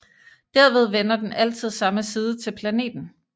Derved vender den altid samme side til planeten